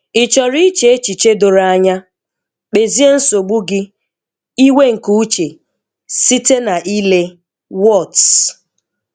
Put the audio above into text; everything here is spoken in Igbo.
Ị chọrọ iche echichedoro anya?kpezie nsogbu gị "iwe nke uche," site na ile ''what's.